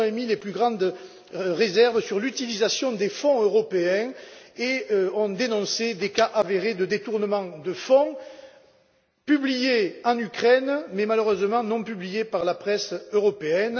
Ils ont émis les plus grandes réserves sur l'utilisation des fonds européens et ont dénoncé des cas avérés de détournement de fonds, publiés en Ukraine mais malheureusement pas dans la presse européenne.